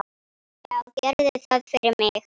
Já, gerðu það fyrir mig!